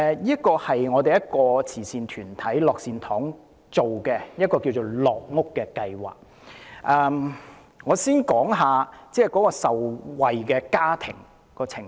這是慈善團體九龍樂善堂一項名為"樂屋"的計劃，但我先談談受惠家庭的情況。